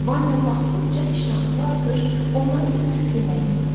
Vanya baxdıqca iştahası artır, onları götürüb yemək istəyirdi.